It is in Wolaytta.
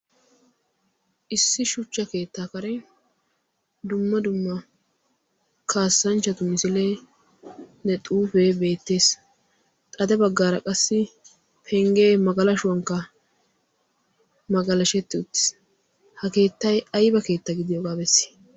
issi shuchcha keettaa kare dumma dumma kaassanchchatu misilee ne xuufee beettees. xade baggaara qassi penggee magalashuwankk magalashetti uttiis. ha keettay ayba keetta gidiyoogaa bessi?